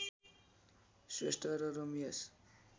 श्रेष्ठ र रमेश